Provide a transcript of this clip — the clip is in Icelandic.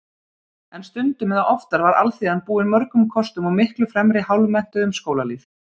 En stundum eða oftar var alþýðan búin mörgum kostum og miklu fremri hálfmenntuðum skólalýð.